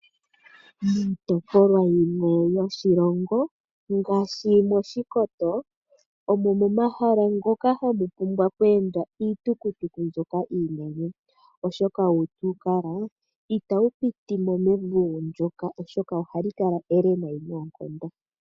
Miitopolwa yimwe yoshilongo, ngaashi mOshikoto omuna omahala ngoka hamu pumbwa okuyendwa kiitukutuku mbyoka iinene, oshoka uutukutuku uushona itawu piti mo mevungu ndyoka. Ohali kala ele noonkondo.